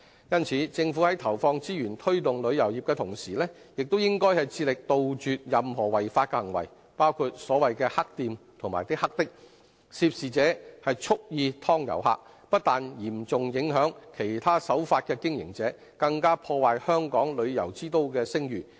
因此，政府在投放資源推動旅遊業的同時，亦應致力杜絕任何違法行為，包括所謂的"黑店"和"黑的"，涉事者蓄意"劏"遊客，不但嚴重影響其他守法的經營者，更破壞香港旅遊之都的聲譽。